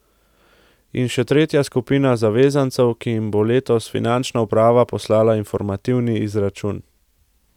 In še tretja skupina zavezancev, ki jim bo letos finančna uprava poslala informativni izračun.